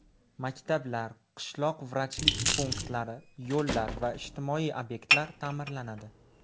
Maktablar, qishloq vrachlik punktlari, yo‘llar va ijtimoiy obyektlar ta’mirlanadi.